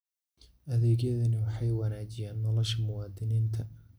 Adeegyadani waxay wanaajiyaan nolosha muwaadiniinta.